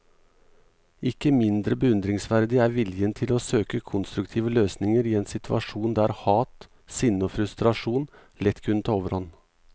Ikke mindre beundringsverdig er viljen til å søke konstruktive løsninger i en situasjon der hat, sinne og frustrasjon lett kunne ta overhånd.